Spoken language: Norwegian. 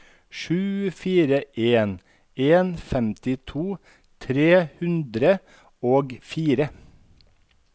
sju fire en en femtito tre hundre og fire